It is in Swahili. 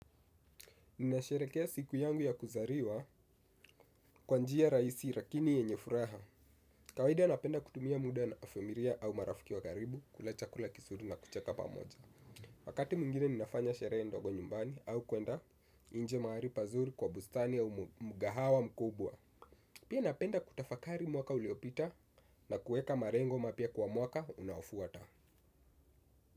Ninasherehekea siku yangu ya kuzaliwa kwa njia rahisi lakini yenye furaha. Kawaida napenda kutumia muda na familia au marafiki wa karibu, kula chakula kizuri na kucheka pamoja. Wakati mwingine ninafanya sherehe ndogo nyumbani au kuenda nje mahali pazuri kwa bustani au mgahawa mkubwa. Pia napenda kutafakari mwaka uliopita na kuweka malengo mapya kwa mwaka unaofuata.